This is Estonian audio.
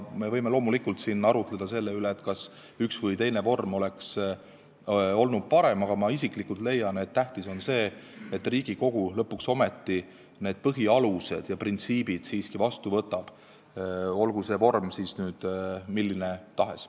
Me võime loomulikult arutleda selle üle, kas üks või teine vorm oleks olnud parem, aga ma isiklikult leian, et tähtis on see, et Riigikogu lõpuks ometi need põhialused ja printsiibid siiski vastu võtab, olgu see vorm milline tahes.